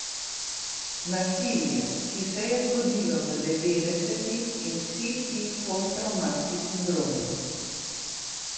Nasilje, ki se je zgodilo v devetdesetih in vsi ti postravmatski sindromi ...